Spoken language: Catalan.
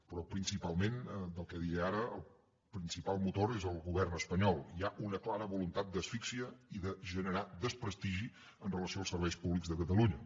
però principalment del que diré ara el principal motor és el govern espanyol hi ha una clara voluntat d’asfíxia i de generar desprestigi amb relació als serveis públics de catalunya